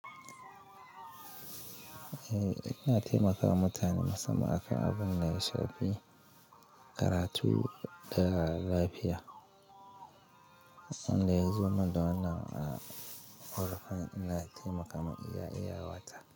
Eh, ina taimaka wa mutane musamman akan abin da ya shafi karatu da lafiya. Wanda ya zo min da wannan a ƙorafin ina taimaka ma iya iyawata.